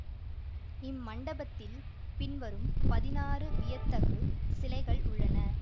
இம்மண்டபத்தில் பின்வரும் பதினாறு வியத்தகு சிலைகள் உள்ளன